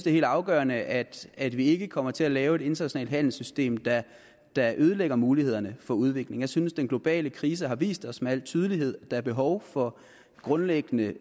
er helt afgørende at at vi ikke kommer til at lave et internationalt handelssystem der der ødelægger mulighederne for udvikling jeg synes den globale krise har vist os med al tydelighed at der er behov for grundlæggende